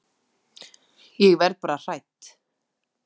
Ég verð bara hrædd.